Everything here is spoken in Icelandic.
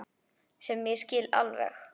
Sem ég skil alveg.